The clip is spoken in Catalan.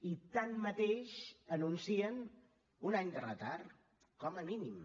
i tanmateix anuncien un any de retard com a mínim